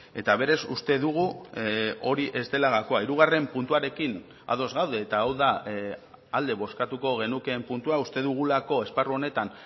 eta berez uste dugu hori ez dela gakoa hirugarren puntuarekin ados gaude eta hau da alde bozkatuko genukeen puntua uste dugulako esparru honetan